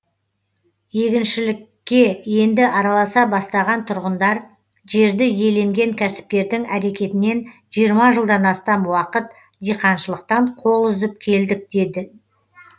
егіншілікке енді араласа бастаған тұрғындар жерді иеленген кәсіпкердің әрекетінен жиырма жылдан астам уақыт диқаншылықтан қол үзіп келдік дейді